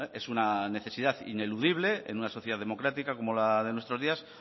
es una necesidad ineludible en una sociedad democrática como la de nuestros días